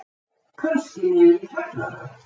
Kannski niður í kjallara.